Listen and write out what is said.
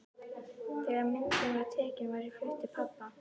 Þegar myndin var tekin var ég flutt til pabba.